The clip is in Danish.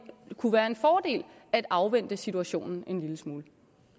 kunne være en fordel at afvente situationen en lille smule